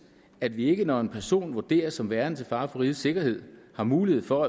at vi ikke når en person vurderes som værende til fare for rigets sikkerhed har mulighed for